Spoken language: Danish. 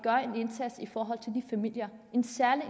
familier en særlig